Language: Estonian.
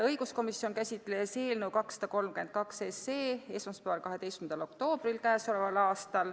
Õiguskomisjon käsitles eelnõu 232 esmaspäeval, k.a 12. oktoobril.